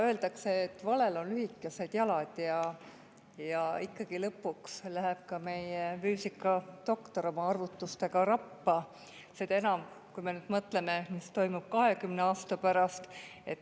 Öeldakse, et valel on lühikesed jalad ja ikkagi lõpuks läheb ka meie füüsikadoktor oma arvutustega rappa, seda enam, kui me mõtleme, mis toimub 20 aasta pärast.